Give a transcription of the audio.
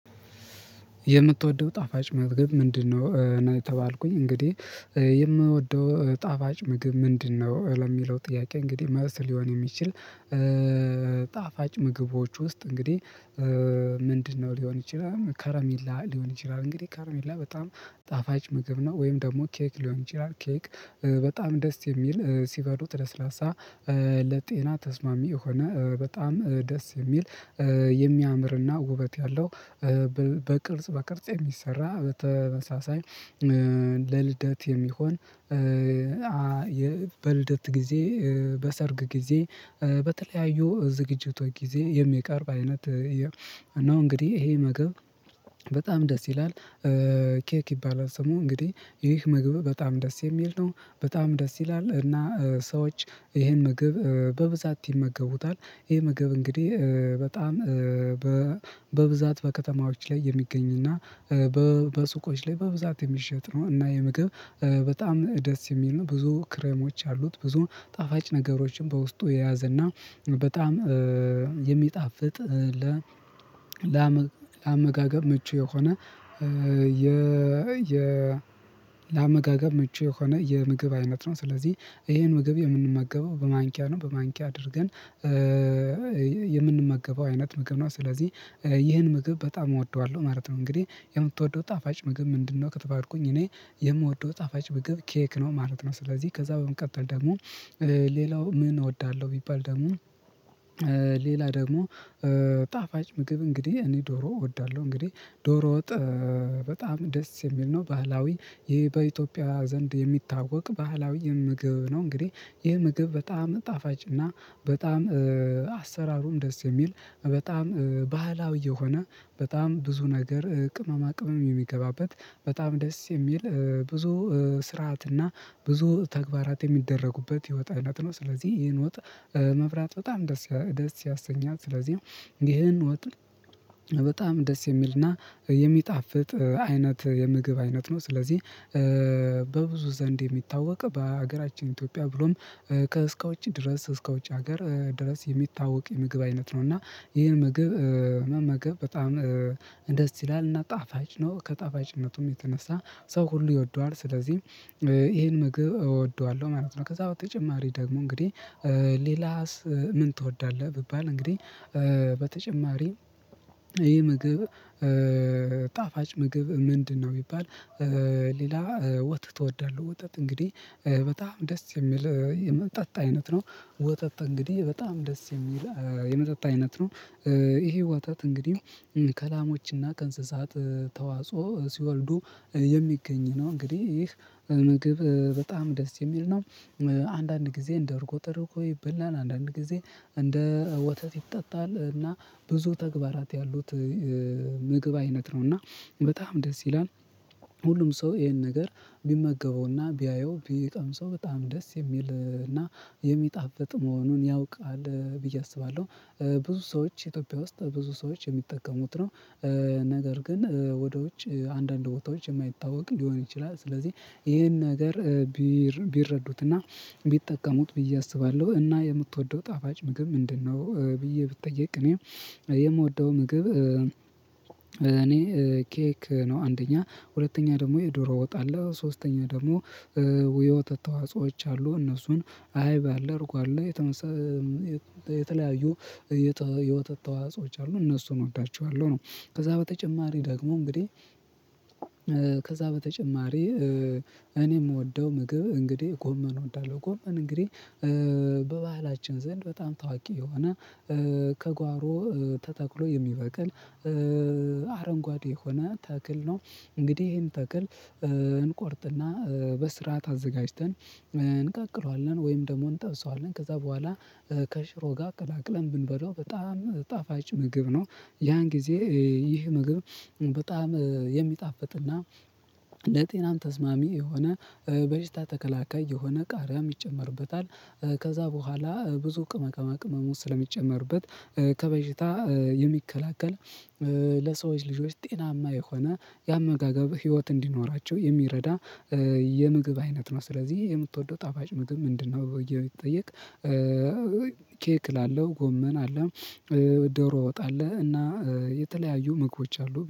የምትወደው ጣፋጭ ምግብ ምንድነው እኔ ተባልኩኝ እንግዲህ የምወደው ጣፋጭ ምግብ ምንድነው ለሚለው ጥያቄ እንግዲህ መልስ ሊሆን የሚችል ጣፋጭ ምግቦች ውስጥ እንግዲህ ምንድነው ሊሆን ይችላል ከረሜላ ሊሆን ይችላል እንግዲህ ከረሜላ በጣም ጣፋጭ ምግብ ነው ወይም ደግሞ ኬክ ሊሆን ይችላል ኬክ በጣም ደስ የሚል ሲበሉት ለስላሳ ለጤና ተስማሚ የሆነ በጣም ደስ የሚል የሚያምርና ውበት ያለው በቅልጽ በቅርጽ የሚሰራ በተመሳሳይ ለልደት የሚሆን በልደት ጊዜ በሰርግ ጊዜ በተለያዩ ዝግጅቶች ጊዜ የሚቀርብ አይነት ነው እንግዲህ ይሄ መግብ በጣም ደስ ይላል ኬክ ይባላል ሰው እንግዲህ ይህ ምግብ በጣም ደስ የሚል ነው በጣም ደስ ይላል እና ሰዎች ይሄን ምግብ በብዛት ይመገቡታል ይሄ መገብ እንግዲህ በጣም በብዛት በከተማዎች ላይ የሚገኝ እና በሱቆች ላይ በብዛት የሚሸጥ ነው እና የምግብ በጣም ደስ የሚል ነው ብዙ ክረሞች አሉት ብዙ ጣፋጭ ነገሮችን በውስጡ የያዘና በጣም የሚጣፍጥ ለአመጋገብ ምቹ የሆነ ለመጋገብ ምቹ የሆነ የምግብ አይነት ነው ስለዚህ ይሄን ምግብ የምንመገበው በማንኪያ ነው በማንኪያ አድርገን የምንመገበው አይነት ምግብ ነው ስለዚህ ይህን ምግብ በጣም እወደዋለሁ ማለት ነው እንግዲህ የምትወደው ጣፋጭ ምግብ ምንድነው ከተባርኩኝ እኔ የምወደው ጣፋጭ ምግብ ኬክ ነው ማለት ነው ስለዚህ ከዛ በመቀጠል ደግሞ ሌላው ምን እወዳለሁ ቢባል ደግሞ ሌላ ደግሞ ጣፋጭ ምግብ እንግዲህ እኔ ዶሮ እወዳለሁ እንግዲህ ዶሮ ወጥ በጣም ደስ የሚል ነው ባህላዊ ይሄ በኢትዮጵያ ዘንድ የሚታወቅ ባህላዊ የምግብ ነው እንግዲህ ይህ ምግብ በጣም ጣፋጭ እና በጣም አሰራሩም ደስ የሚል በጣም ባህላዊ የሆነ በጣም ብዙ ነገር ቅመማ ቅመም የሚገባበት በጣም ደስ የሚል ብዙ ስርዓትና ብዙ ተግባራት የሚደረጉበት የወጥ አይነት ነው ስለዚህ ይሄን ወጥ መብላት በጣም ደስ ያሰኛል ስለዚህ ይሄን ወጥ በጣም ደስ የሚልና የሚጣፍጥ አይነት የምግብ አይነት ነው ስለዚህ በብዙ ዘንድ የሚታወቅ በሀገራችን ኢትዮጵያ ብሎም ከእስከ ውጪ ድረስ እስከ ውጪ ሀገር ድረስ የሚታወቅ የምግብ አይነት ነው እና ይሄን ምግብ መመገብ በጣም ደስ ይላል እና ጣፋጭ ነው ከጣፋጭነቱም የተነሳ ሰው ሁሉ ይወደዋል ስለዚህ ይሄን ምግብ እወደዋለሁ ማለት ነው ከዛ በተጨማሪ ደግሞ እንግዲህ ሌላስ ምን ትወዳለህ ቢባል እንግዲህ በተጨማሪ ይሄ ምግብ ጣፋጭ ምግብ ምንድነው ቢባል ሌላ ወተት እወዳለሁ ወተት እንግዲህ በጣም ደስ የሚል የመጠጥ አይነት ነው። ወተት እንግዲህ በጣም ደስ የሚል የመጠጥ አይነት ነው ይሄ ወተት እንግዲህ ከላሞችና ከእንስሳት ተዋጽኦ ሲወልዱ የሚገኝ ነው እንግዲህ ይህ ምግብ በጣም ደስ የሚል ነው። አንዳንድ ጊዜ እንደ እርጎ ተደርጎ ይበላል አንዳንድ ጊዜ እንደ ወተት ይጠጣል እና ብዙ ተግባራት ያሉት ምግብ አይነት ነው እና በጣም ደስ ይላል። ሁሉም ሰው ይሄን ነገር ቢመገበውና ቢያየው ቢቀምሰው በጣም ደስ የሚልና የሚጣፍጥ መሆኑን ያውቃል ብዬ አስባለሁ። ብዙ ሰዎች ኢትዮጵያ ውስጥ ብዙ ሰዎች የሚጠቀሙት ነው። ነገር ግን ወደ ውጭ አንዳንድ ቦታዎች የማይታወቅ ሊሆን ይችላል። ስለዚህ ይሄን ነገር ቢረዱትና ቢጠቀሙት ብዬ አስባለሁ እና የምትወደው ጣፋጭ ምግብ ምንድነው ብዬ ብጠይቅ እኔ የምወደው ምግብ እኔ ኬክ ነው አንደኛ ሁለተኛ ደግሞ የዶሮ ወጥ አለ ሶስተኛ ደግሞ ወይ ወተት ተዋጽኦዎች አሉ እነሱን አይብ አለ እርጎ አለ የተለያዩ የወተት ተዋጾች አሉ እነሱን እወዳቸዋለሁ ነው ከዛ በተጨማሪ ደግሞ እንግዲህ ከዛ በተጨማሪ እኔ የምወደው ምግብ እንግዲህ ጎመን እወዳለሁ ጎመን እንግዲህ በባህላችን ዘንድ በጣም ታዋቂ የሆነ ከጓሮ ተተክሎ የሚበቅል አረንጓዴ የሆነ ተክል ነው እንግዲህ ይሄን ተክል እንቆርጥና በስርዓት አዘጋጅተን እንቀቅለዋለን ወይም ደግሞ እንጠብሰዋለን ከዛ በኋላ ከሽሮ ጋር ቀላቅለን ብንበለው በጣም ጣፋጭ ምግብ ነው። ያን ጊዜ ይህ ምግብ በጣም የሚጣፍጥና ለጤናም ተስማሚ የሆነ በሽታ ተከላካይ የሆነ ቃሪያም ይጨመርበታል ከዛ በኋላ ብዙ ቅመማ ቅመሞች ስለሚጨመርበት ከበሽታ የሚከላከል ለሰዎች ልጆች ጤናማ የሆነ የአመጋገብ ህይወት እንዲኖራቸው የሚረዳ የምግብ አይነት ነው ስለዚህ የምትወደው ጣፋጭ ምግብ ምንድነው ብዬ ብጠየቅ ኬክ እላለው ጎመን አለ፣ ዶሮ ወጥ አለ እና የተለያዩ ምግቦች አሉ።